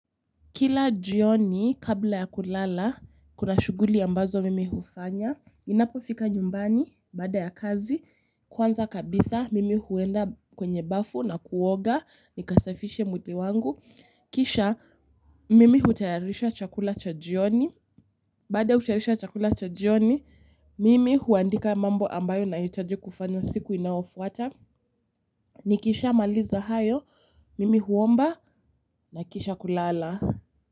Kila jioni kabla ya kulala, kuna shuguli ambazo mimi hufanya. Ninapofika nyumbani baada ya kazi kwanza kabisa mimi huenda kwenye bafu na kuoga nikasafishe mwili wangu kisha, mimi hutayarisha chakula cha jioni, baada ya kutayarisha chakula cha jioni, mimi huandika mambo ambayo nahitaji kufanya siku inayofuata. Nikisha maliza hayo, mimi huomba, na kisha kulala.